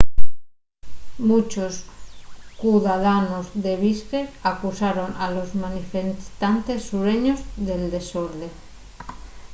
munchos cudadanos de bishkek acusaron a los manifestantes sureños del desorde